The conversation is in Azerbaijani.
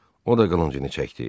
O da qılıncını çəkdi.